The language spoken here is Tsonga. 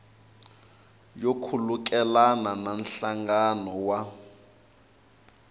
yo khulukelana na nhlangano wa